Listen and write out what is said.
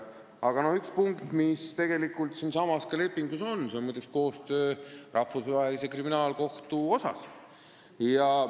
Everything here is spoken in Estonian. Aga üks punkt, mis selles lepingus on, on muide koostöö Rahvusvahelise Kriminaalkohtu asjus.